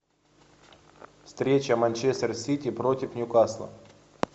встреча манчестер сити против ньюкасла